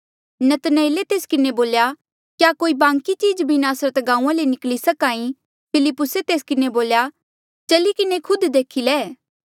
नतनएले तेस किन्हें बोल्या क्या कोई बांकी चीज भी नासरत गांऊँआं ले निकली सक्हा ई फिलिप्पुसे तेस किन्हें बोल्या चली किन्हें खुद देखी ले